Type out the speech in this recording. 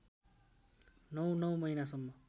नौ नौ महिनासम्म